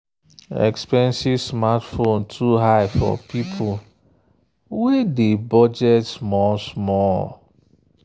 expensive smartphone too high for people wey dey budget small small.